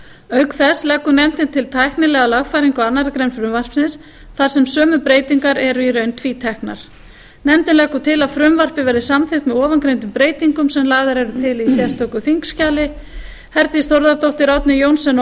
auk þess leggur nefndin til tæknilega lagfæringu á annarri grein frumvarpsins þar sem sömu breytingarnar eru í raun tvíteknar nefndin leggur til að frumvarpið verði samþykkt með ofangreindum breytingum sem lagðar eru til í sérstöku þingskjali herdís þórðardóttir árni johnsen og